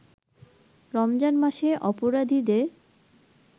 রমজান মাসে অপরাধীদের